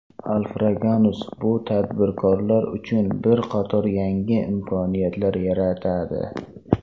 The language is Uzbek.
Alfraganus bu tadbirkorlar uchun bir qator yangi imkoniyatlar yaratadi.